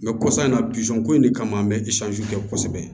kɔsa in na buson ko in de kama an bɛ kɛ kosɛbɛ